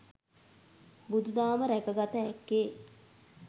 බුදු දහම රැක ගත හැක්කේ